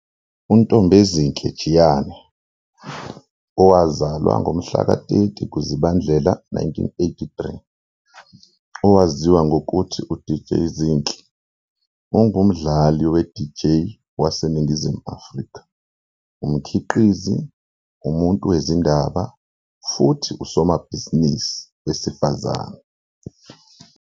UNtombezinhle Jiyane, owazalwa ngomhlaka 30 kuZibandlela 1983, owaziwa ngokuthi UDJ Zinhle, ungumdlali we-DJ waseNingizimu Afrika, umkhiqizi, umuntu wezindaba futhi usomabhizinisi wesifazane.